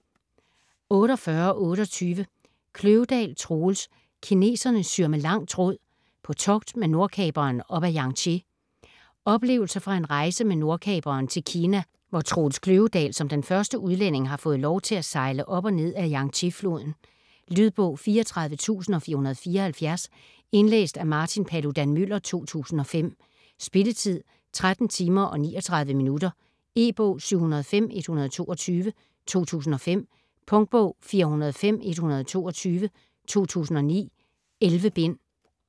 48.28 Kløvedal, Troels: Kineserne syr med lang tråd: på togt med Nordkaperen op ad Yangtze Oplevelser fra en rejse med Nordkaperen til Kina hvor Troels Kløvedal som den første udlænding har fået lov til at sejle op og ned af Yangtze-floden. Lydbog 34474 Indlæst af Martin Paludan-Müller, 2005. Spilletid: 13 timer, 39 minutter. E-bog 705122 2005. Punktbog 405122 2009. 11 bind.